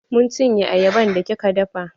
Mun cin ye ayaban da kika dafa